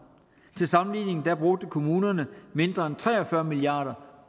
til sammenligning brugte kommunerne mindre end tre og fyrre milliard